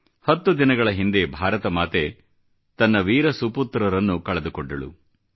ಹತ್ತು ದಿನಗಳ ಹಿಂದೆ ಭಾರತ ಮಾತೆ ತನ್ನ ವೀರ ಸುಪುತ್ರರನ್ನು ಕಳೆದುಕೊಂಡಳು